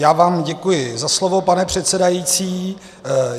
Já vám děkuji za slovo, pane předsedající.